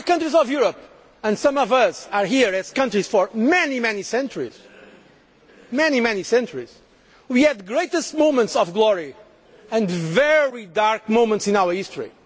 countries of Europe and some of us have been countries for many, many centuries have had the greatest moments of glory and very dark moments in our